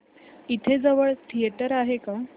इथे जवळ थिएटर आहे का